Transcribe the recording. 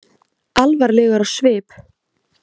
Alvarlegur á svip.